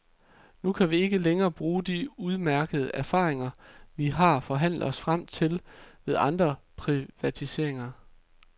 Nu kan vi ikke længere bruge de udmærkede erfaringer, vi har forhandlet os frem til ved andre privatiseringer.